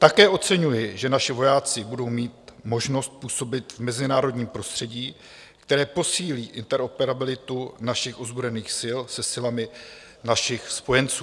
Také oceňuji, že naši vojáci budou mít možnost působit v mezinárodním prostředí, které posílí interoperabilitu našich ozbrojených sil se silami našich spojenců.